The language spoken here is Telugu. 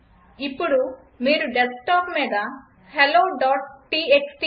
ఇప్పుడు మీరు డెస్క్టాప్ మీద helloటీఎక్స్టీ